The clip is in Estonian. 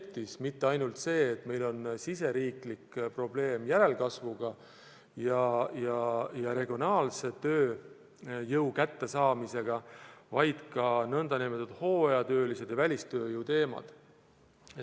Käsitlusel polnud mitte ainult see, et meil on riigisisesesed järelkasvu ja regionaalsed tööjõu saamise probleemid, vaid arutasime ka hooajatööliste ja üldse välistööjõu teemat.